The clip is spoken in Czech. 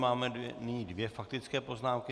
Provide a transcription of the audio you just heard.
Máme nyní dvě faktické poznámky.